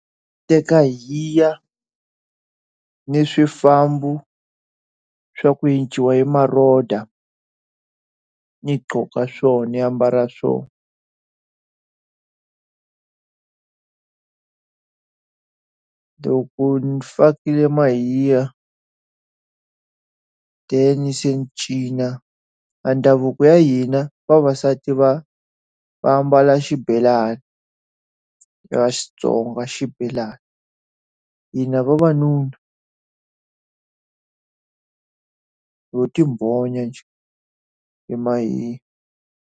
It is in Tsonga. Teka hi ya ni swifambo swa ku yenciwa ni maroda ni qoka swona ni ambala swona loko ni fakile mahiya then-i se ni cina. Ndhavuko wa hina vavasati va va ambala ya xibelani, ra Xitsonga xibelani. Hina vavanuna ho ti bonya njhe hi mahiya.